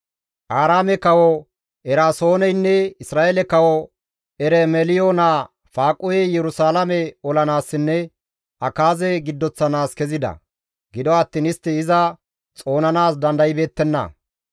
Aaraame kawo Eraasooneynne Isra7eele kawo Eromeliyo naa Faaquhey Yerusalaame olanaassinne Akaaze giddoththanaas kezida; gido attiin istti iza xoonanaas dandaybeettenna.